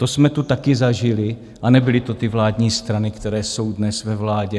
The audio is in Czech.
To jsme tu taky zažili a nebyly to ty vládní strany, které jsou dnes ve vládě.